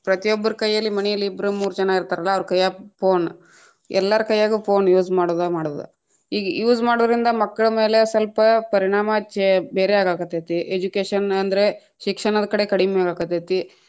ಪ್ರತಿಯೊಬ್ರ ಕೈಯಲ್ಲಿ ಮನೆಯಲ್ಲಿ ಇಬ್ರ್‌ ಮೂರಜನಾ ಇತಾ೯ರಲ್ಲಾ ಅವ್ರ ಕೈಯಾಗ phone ಎಲ್ಲಾರ ಕೈಯಾಗು phone use ಮಾಡುದ ಮಾಡುದ್, ಈಗ use ಮಾಡುರಿಂದ ಮಕ್ಕಳ ಮೇಲೆ ಸ್ವಲ್ಪ ಪರಿಣಾಮ ಚೆ ಬೇರೆ ಆಗಕತೈತಿ, education ಅಂದ್ರೆ, ಶಿಕ್ಷಣದ ಕಡೆ ಕಡಿಮೆ ಇರ ಕತೈತಿ.